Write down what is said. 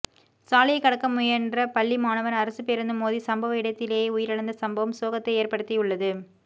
சாலையை கடக்க முயன்ற பள்ளி மாணவன் அரசு பேருந்து மோதி சம்பவ இடத்திலேயே உயிரிழந்த சம்பவம் சோகத்தை ஏற்படுத்தியுள்ளது